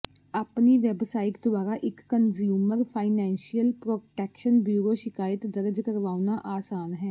ਆਪਣੀ ਵੈੱਬਸਾਈਟ ਦੁਆਰਾ ਇੱਕ ਕੰਜ਼ਿਊਮਰ ਫਾਈਨੈਂਸ਼ੀਅਲ ਪ੍ਰੋਟੈਕਸ਼ਨ ਬਿਊਰੋ ਸ਼ਿਕਾਇਤ ਦਰਜ ਕਰਵਾਉਣਾ ਆਸਾਨ ਹੈ